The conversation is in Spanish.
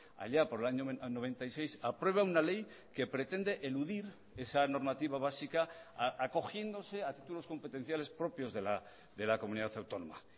allá por el año noventa y seis aprueba una ley que pretende eludir esa normativa básica acogiéndose a títulos competenciales propios de la comunidad autónoma